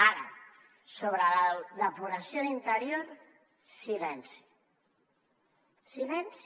ara sobre la depuració d’interior silenci silenci